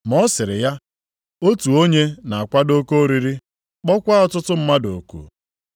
Ma ọ sịrị ya, “Otu onye na-akwado oke oriri kpọkwa ọtụtụ mmadụ oku.